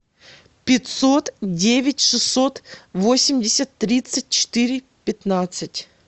пятьсот девять шестьсот восемьдесят тридцать четыре пятнадцать